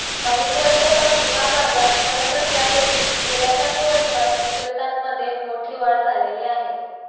अनेक वर्षांपासून हा बाजार भरत असला तरी गेल्या काही वर्षात विक्रेत्यांमध्ये मोठी वाढ झालेली आहे